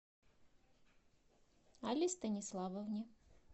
алле станиславовне